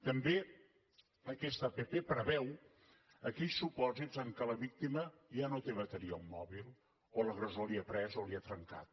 també aquesta app preveu aquells supòsits en què la víctima ja no té bateria al mòbil o l’agressor l’hi ha pres o l’hi ha trencat